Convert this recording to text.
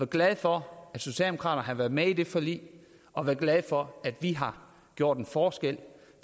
glad for at socialdemokraterne har været med i det forlig og glad for at vi har gjort en forskel